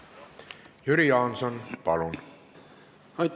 Jüri Jaanson, palun!